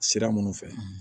Sira minnu fɛ